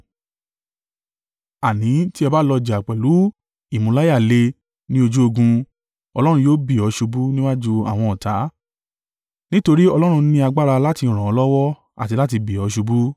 Àní, tí ẹ bá lọ jà pẹ̀lú ìmúláyàle ní ojú ogun, Ọlọ́run yóò bì ọ́ ṣubú níwájú àwọn ọ̀tá, nítorí Ọlọ́run ní agbára láti ràn ọ́ lọ́wọ́ àti láti bì ọ́ ṣubú.”